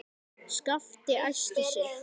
Skapti æsti sig.